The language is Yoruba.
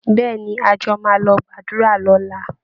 Bẹ́ẹ̀ ni, a jọ máa lọ gbàdúra lọ́la ni